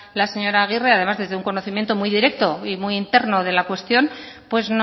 agirre además desde un conocimiento muy directo y muy interno de la cuestión pues